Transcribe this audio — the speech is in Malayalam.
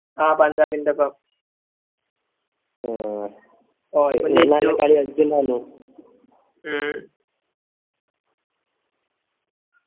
അഹ് പഞ്ചാബിൻറെപ്പം ഉം ഉം